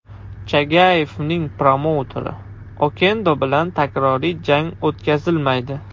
Chagayevning promouteri: Okendo bilan takroriy jang o‘tkazilmaydi.